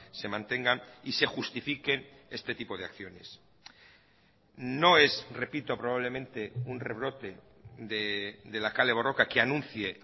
se mantengan y se justifiquen este tipo de acciones no es repito probablemente un rebrote de la kale borroka que anuncie